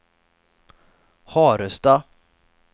Harestad